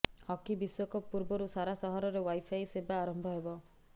hockey ବିଶ୍ୱକପ୍ ପୂର୍ବରୁ ସାରା ସହରରେ ଓ୍ବାଇଫାଇ ସେବା ଆରମ୍ଭ ହେବ